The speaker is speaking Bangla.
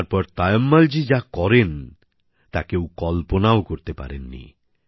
তারপর তায়ম্মলজী যা করেন তা কেউ কল্পনাও করতে পারেননি